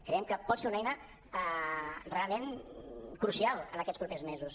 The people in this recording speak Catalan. creiem que pot ser una eina realment crucial en aquests popers mesos